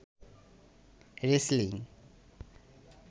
wrestling